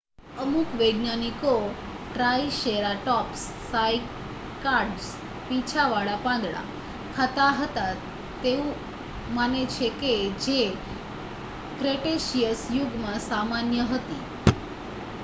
અમુક વૈજ્ઞાનિકો triceratops cycads પીંછાવાળા પાંદડા ખાતા હતા તેવું માને છે કે જે ક્રેટેસીયસ યુગમાં સામાન્ય હતી